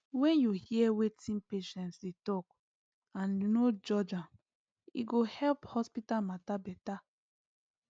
when you hear wetin patients dey talk and no judge am e go help hospital matter bette